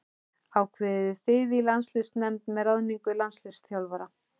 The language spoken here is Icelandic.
Ákveðið þið í landsliðsnefnd með ráðningu landsliðsþjálfara?